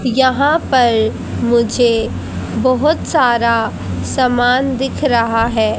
यहां पर मुझे बहोत सारा समान दिख रहा है।